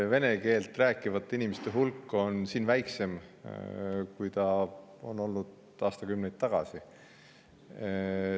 Vene keelt rääkivate inimeste hulk on siin väiksem, kui see oli aastakümneid tagasi.